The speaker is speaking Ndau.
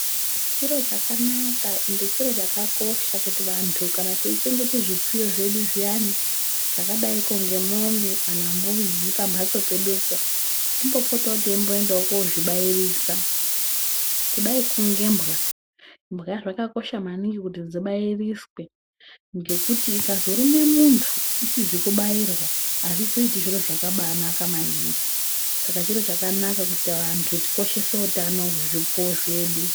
Chiro chakanaka ende chiro chakakosha kuti vantu kana teichengete zvipfuyo zviyaani zvakadai ko ngemwombe, kana mbudzi pamhatso pedupo, timbopotewoteienda kozvibairisa ,kudai ngebwa, bwa dzakakosha maningi kuti dzibairiswe, ngekuti ikazorume muntu isizi kubairwa azvizoiti zviro zvakaba anaka maningi. Saka chiro chakanaka kuti vantu tikoshese utano hwezvipfuwo zvedu.